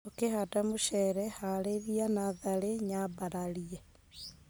ũkihanda mũcere harĩria natharĩ nyambararie.